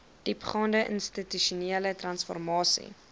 diepgaande institusionele transformasie